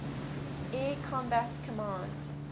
air combat command